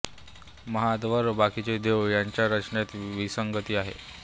महाद्वार व बाकीचे देऊळ यांच्या रचनेत विसंगती आहे